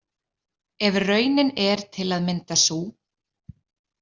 Ef raunin er til að mynda sú.